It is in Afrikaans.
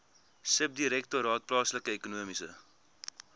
subdirektoraat plaaslike ekonomiese